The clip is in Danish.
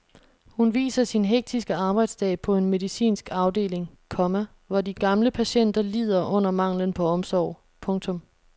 Hun viser sin hektiske arbejdsdag på en medicinsk afdeling, komma hvor de gamle patienter lider under manglen på omsorg. punktum